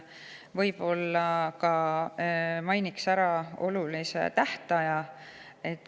Enne võib-olla mainin ära olulise tähtaja.